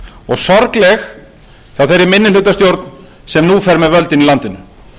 og sorgleg af þeirri minnihlutastjórn sem nú fer með völdin í landinu